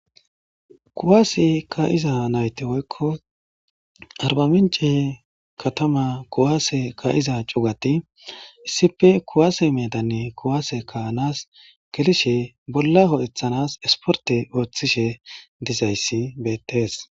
Kuwaase ka7iza nayte woykko arba mince katama kuwaase ka7iza cugati issife kuwaase medanne kuwaase kaanas gelishe bolla ho7ethanas esporte ooththishe dizayssi bettees.